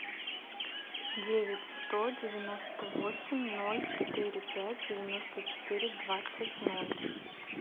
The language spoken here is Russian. девять сто девяносто восемь ноль четыре пять девяносто четыре двадцать ноль